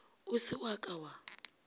o se wa ka wa